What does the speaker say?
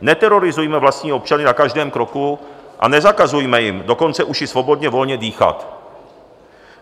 Neterorizujme vlastní občany na každém kroku a nezakazujme jim dokonce už i svobodně volně dýchat.